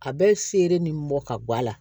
A bɛ feere ni mɔ ka bɔ a la